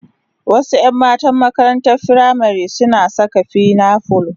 Wasu 'yan matan makarantar firamari suna saka pinafore